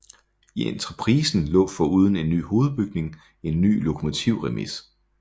I entreprisen lå foruden en ny hovedbygning en ny lokomotivremise